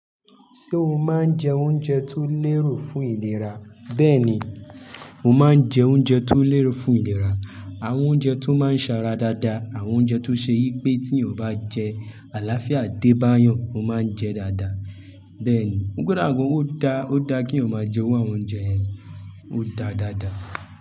Ṣé o máa ń jẹ oúnjẹ tó lérò fún ìlera? Bẹ́ẹ̀ ni, mo máa ń jẹ oúnjẹ tó lérò fún ìlera, àwọn oúnjẹ tó máa ń ṣe ara dáadáa, àwọn oúnjẹ tó ṣe yí pé tí ènìyàn bá jẹ, àlàáfíà dé bá yàn, mo máa ń jẹ dáadáa. Bẹ́ẹ̀ ni, kọ́da gan ó dá, ó dá kí'yan máa jẹ irú àwọn oúnjẹ yẹn, ó dáadáa.